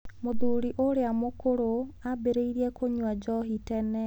Mũthuri ũrĩa mũkũrũ aambĩrĩirie kũnyua njohi tene.